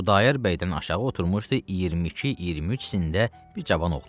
Xudayar bəydən aşağı oturmuşdu 22-23 sinndə bir cavan oğlan.